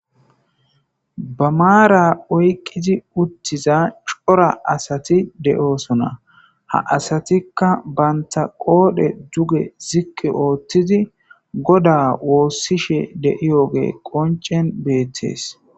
Ba maara oyqqizi uttiza cora asati de'oosona ha asatikka banta qoodhe duge zikke ooththidi goda woossishe deiyoge qoncen beettees.